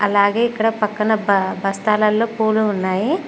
అలాగే ఇక్కడ పక్కన బా బస్తాలల్లో పూలు ఉన్నాయి.